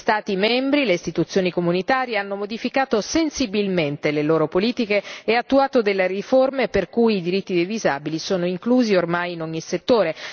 Gli Stati membri e le istituzioni dell'UE hanno modificato sensibilmente le loro politiche e attuato delle riforme, per cui i diritti dei disabili sono inclusi ormai in ogni settore.